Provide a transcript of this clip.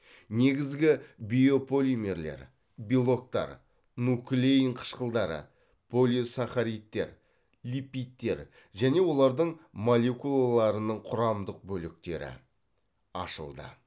негізгі биополимерлер белоктар нуклеин қышқылдары полисахаридтер липидтер және олардың молекулаларының құрамдық бөліктері ашылды